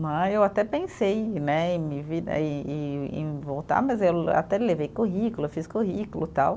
Né. Eu até pensei né em vi em em em voltar, mas eu até levei currículo, fiz currículo e tal.